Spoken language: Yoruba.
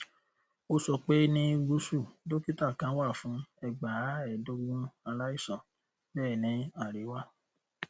ó sọ pé ní gúúsù dokita kan wà fún ẹgbàáẹẹdógún aláìsàn bẹẹ ní àríwá